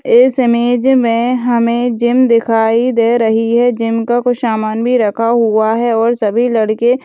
इस इमेज में हमें जिम दिखाई दे रही है जिम का कुछ समान भी रखा हुआ है और सभी लड़के --